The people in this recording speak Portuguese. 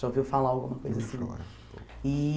Já ouviu falar alguma coisa assim? E